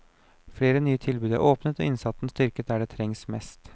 Flere nye tilbud er åpnet og innsatsen styrket der det trengs mest.